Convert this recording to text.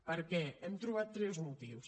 per què hem trobat tres motius